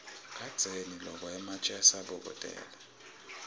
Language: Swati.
kadzeni lokwa ematje asabokotela